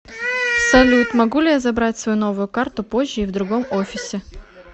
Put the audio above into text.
салют могу ли я забрать свою новую карту позже и в другом офисе